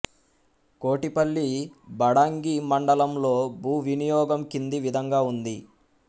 కోటిపల్లి బాడంగి మండలంలో భూ వినియోగం కింది విధంగా ఉంది